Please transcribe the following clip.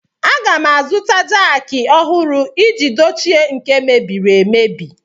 Aga m azụta jaakị ọhụrụ iji dochie nke mebiri emebi.